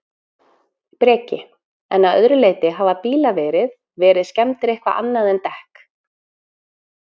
Breki: En að öðru leyti, hafa bílar verið, verið skemmdir eitthvað annað en dekk?